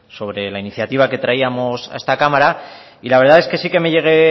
sobre la iniciativa que traíamos a esta cámara y la verdad es que sí que me llevé